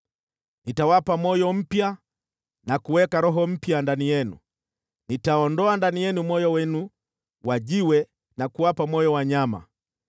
Nitawapa moyo mpya na kuweka roho mpya ndani yenu, nitaondoa ndani yenu moyo wenu wa jiwe na kuwapa moyo wa nyama.